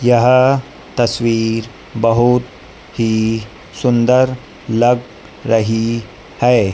यह तस्वीर बहुत ही सुंदर लग रही है।